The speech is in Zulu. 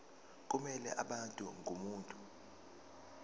kumele abe ngumuntu